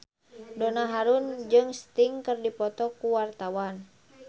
Donna Harun jeung Sting keur dipoto ku wartawan